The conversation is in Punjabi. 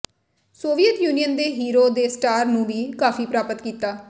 ਸੋਵੀਅਤ ਯੂਨੀਅਨ ਦੇ ਹੀਰੋ ਦੇ ਸਟਾਰ ਨੂੰ ਵੀ ਕਾਫ਼ੀ ਪ੍ਰਾਪਤ ਕੀਤਾ